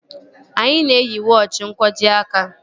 Anyị na-eyi wọochi n'nkwojiaka